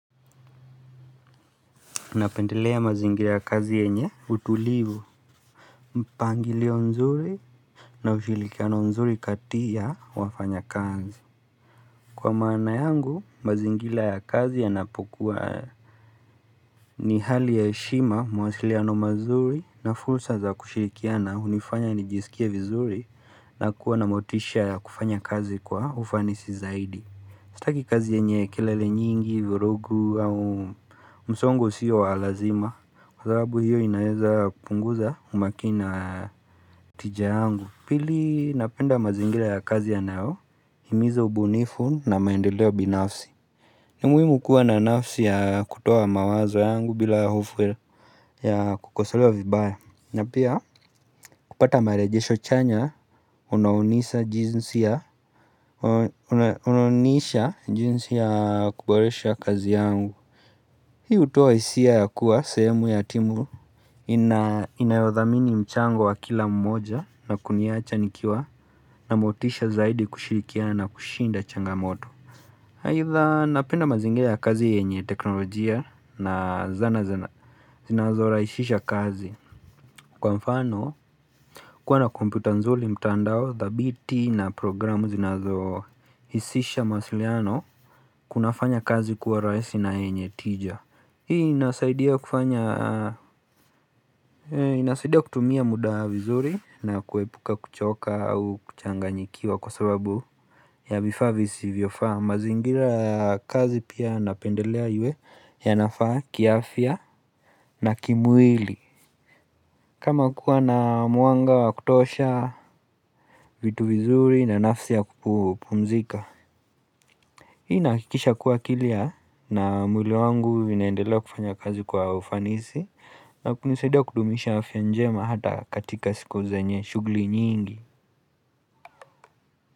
Napendelea mazingila ya kazi yenye utulivu, mpangilio nzuri na ushirikiano nzuri katia wafanya kazi. Kwa maana yangu, mazingila ya kazi yanapokuwa ni hali ya heshima mawasiliano mazuri na fursa za kushirikiana hunifanya nijisikie vizuri na kuwa na motisha ya kufanya kazi kwa ufanisi zaidi. Sitaki kazi yenye kelele nyingi, virugu au msongo usiyo walazima Kwa sababu hiyo inaweza kupunguza umakini na tija yangu Pili napenda mazingira ya kazi yanayo himiza ubunifu na maendeleo binafsi ni muhimu kuwa na nafsi ya kutoa mawazo yangu bila hofu ya kukosolewa vibaya na pia kupata marejesho chanya, unaonisha jinsi ya kuboresha kazi yangu Hii hutoa hisia ya kuwa sehemu ya timu Inayodhamini mchango wa kila mmoja na kuniacha nikiwa na motisha zaidi kushirikiana kushinda changamoto aidha napenda mazingira ya kazi yenye teknolojia na zana zana zinazo raisisha kazi Kwa mfano, kuwa na kompyuta nzuli mtandao, dhabiti na programu zinazo hisisha mawasiliano Kuna fanya kazi kuwa raisi na yenye tija Hii inasaidia kutumia muda vizuri na kuepuka kuchoka au kuchanganyikiwa kwa sababu ya vifaa visivyofaa, mazingira ya kazi pia napendelea iwe yanafaa kiafya na kimwili kama kuwa na mwanga wa kutosha, vitu vizuri na nafsi ya kupumzika Hii inahakikisha kuwa akili ya na mwili wangu vinaendelea kufanya kazi kwa ufanisi na kunisaidia kudumisha afya njema hata katika siku zenye shugli nyingi.